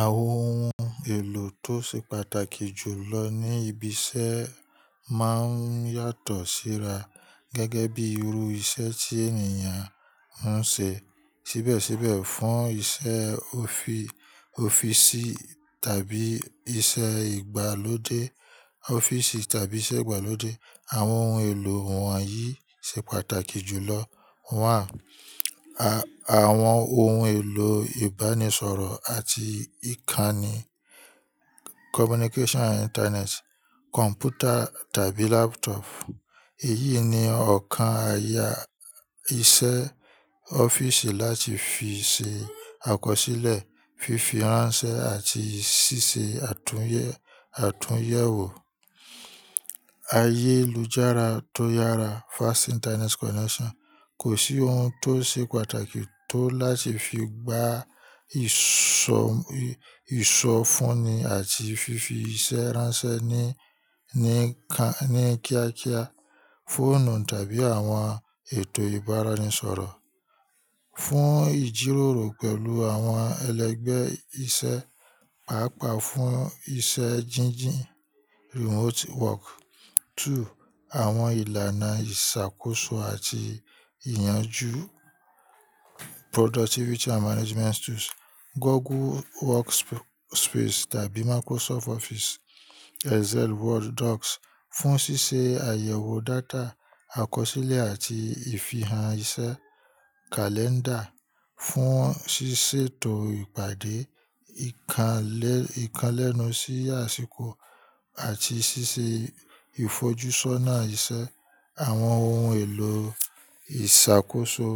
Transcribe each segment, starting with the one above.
Àwọn oun èlò tó ṣe pàtàkì jùlọ ní ibi iṣẹ́ máa ń yàtọ̀ síra gẹ́gẹ́ bí irú iṣẹ́ tí ènìyàn ń ṣe. Síbẹ̀síbẹ̀, fún iṣẹ́ ọ́fíìsì tàbí iṣẹ́ ìgbàlódé, àwọn ohun èlò wọ̀nyí ṣe pàtàkì jùlọ. Àwọn ohun èlò ìbánisọ̀rọ̀ àti ìkànnì, communication and internet, kọ̀mpútà tàbí laptop. Èyí ni ọ̀kan ààya iṣẹ́ ọ́fíìsì láti fi ṣe àkọsílẹ̀, fífi ránṣẹ́ àti ṣíṣe àtúnyẹ̀wò. Ayélujára tó yára, fast internet connection. Kò sí ohun tó ṣe pàtàkì tó láti fi gba ìsọfúnni àti fífi iṣẹ́ ránṣẹ́ ní ní kíákíá, fóònù tàbí àwọn ètò ìbáraẹnisọ̀rọ̀. Fún ìjíròrò pẹ̀lú àwọn ẹlẹgbẹ́ iṣẹ́, pàápàá fún iṣẹ́ jíjìn, remote work. Two, àwọn ìlànà ìṣàkóso àti ìyànjú, productivity and management tools. Google Workspace tàbí Microsoft Office, Excel, Word docs fún ṣíṣe àyẹ̀wò data, àkọsílẹ̀ àti ìfihàn iṣẹ́. Calendar fún ṣiṣẹ́ ètò ìpàdé ìkan lẹ́nu sí àsìkò àti ṣíṣe ìfojúsọ́nà iṣẹ́. Àwọn ohun èlò ìṣàkóso,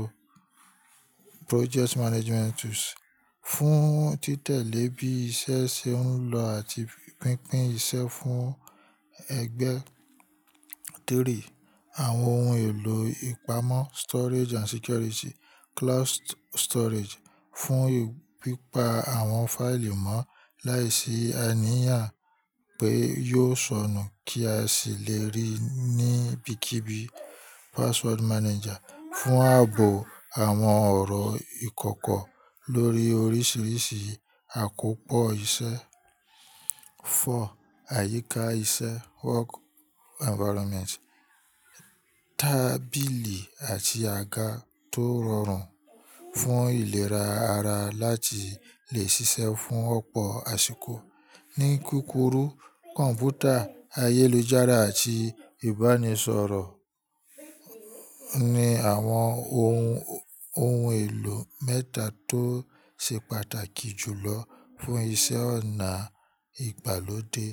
project management tools fún títẹ̀lé bí iṣẹ́ ṣe ń lọ àti pínpín iṣẹ́ fún ẹgbẹ́. Three, àwọn ohun èlò ìpamọ́, storage and security, cloud storage fún pípa àwọn fáìlì mọ́ láìsí àníyàn pé yóò sọnù kí a sì lè rí i níbikíbi. Password manager fún ààbò àwọn ọ̀rọ̀ ìkọ̀kọ̀ lórí oríṣiríṣi àkópọ̀ iṣẹ́. Four, àyíká iṣẹ́, work environment. Tábìlì àti àga tó rọrùn fún ìlera ara láti lè ṣiṣẹ́ fún ọ̀pọ̀ àsìkò. Ní kúkúrú kọ̀mpútà ayélujára àti ìbánisọ̀rọ̀ ni àwọn ohun èlò mẹ́ta tó ṣe pàtàkì jùlọ fún iṣẹ́ ọ̀nà ìgbàlódé.